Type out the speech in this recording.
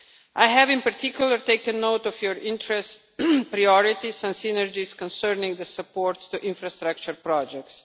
I have, in particular, taken note of your interests, priorities and synergies concerning the support for infrastructure projects.